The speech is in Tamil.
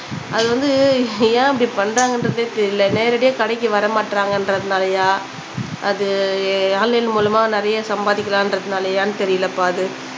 அது வந்து ஏன் அப்படி பண்றாங்கன்றதே தெரில நேரடியா கடைக்கு வர மாற்றங்கன்றதுனாலையா அது ஆன்லைன் மூலமா நிறையா சம்பாதிக்கலான்றதுனாலையானு தெரிலப்பா அது